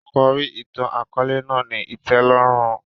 Àkòrí ìtàn-àkóòlè náà ni ìtẹ́lórùn